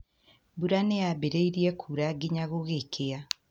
Mbura nĩ yambĩrĩirie kuura nginya gũgĩkĩa